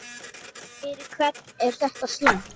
Fyrir hvern er þetta slæmt?